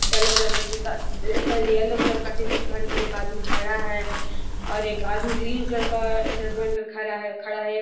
yellow colour का ठीकट sorry yellow colour का टी-शर्ट पहन कर एक आदमी खड़ा है और एक आदमी ग्रीन कलर का टी-शर्ट पहन कर खड़ा है खड़ा है |